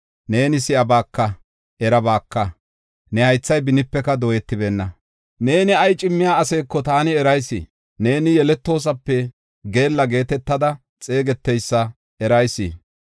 Neeni si7abaka; erabaaka; ne haythay benipeka dooyetibeenna. Neeni ay cimmiya aseeko taani erayis; neeni yeletoosape geella geetetada xeegeteysa erayis.